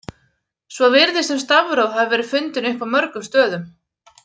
Svo virðist sem stafróf hafi verið fundin upp á mörgum stöðum.